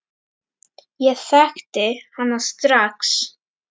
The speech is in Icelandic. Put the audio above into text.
Ég þekkti hana strax.